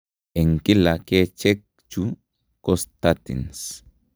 Eng kila kecheek chu ko statin